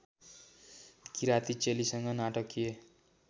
किराती चेलीसँग नाटकीय